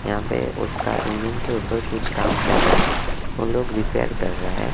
यहां पे उसका इंजन के ऊपर कुछ काम कर रहा है और लोग रिपेयर कर रहा है।